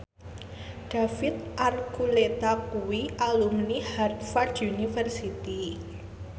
David Archuletta kuwi alumni Harvard university